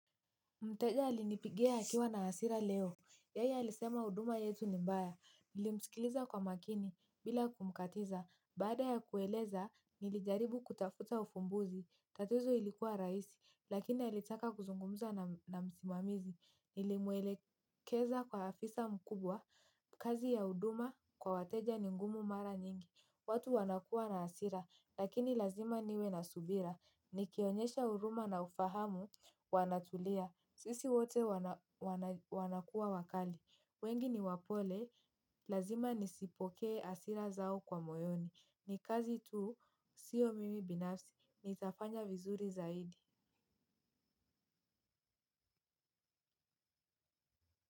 Mteja alinipigia akiwa na hasira leo. Yeye alisema huduma yetu ni mbaya. Nilimsikiliza kwa makini bila kumkatiza. Baada ya kueleza, nilijaribu kutafuta ufumbuzi. Tatizo ilikuwa rahisi, lakini alitaka kuzungumza na msimamizi. Nilimwelekeza kwa afisa mkubwa. Kazi ya huduma kwa wateja ni ngumu mara nyingi. Watu wanakuwa na hasira, lakini lazima niwe na subira. Nikionyesha huruma na ufahamu wanatulia. Sisi wote wanakuwa wakali, wengi ni wapole, lazima nisipokee hasira zao kwa moyoni, ni kazi tu, siyo mimi binafsi, nitafanya vizuri zaidi.